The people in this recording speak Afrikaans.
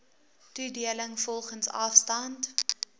toedeling volgens afstand